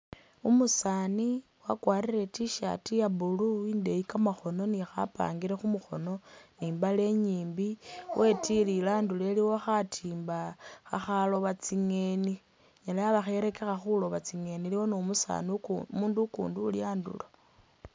Umusaani wakwarire I'T-shirt ya blue indeeyi kamakhono ni khapangiri khu'mukhono ni i'mbaale inyimbi, wetilile andulo iliwo khatiimba khakhaloba tsingeni inyala yaba kha ikherekekha khulooba tsingeni, iliwo ni umusaani uku umuundu ukundi uli andulo.